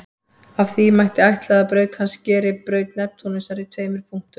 Af því mætti ætla að braut hans skeri braut Neptúnusar í tveimur punktum.